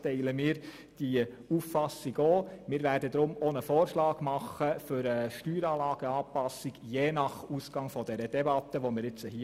Deshalb werden wir je nach Ausgang der Debatte einen Vorschlag für eine Steueranlageanpassung unterbreiten.